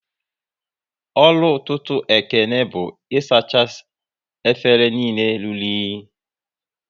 Ọrụ ọtụtụ Ekene bụ isacha efere niile rụrụ unyi